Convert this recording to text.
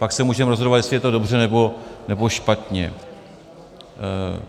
Pak se můžeme rozhodovat, jestli je to dobře, nebo špatně.